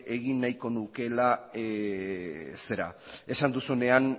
egin nahiko nukeela zera esan duzunean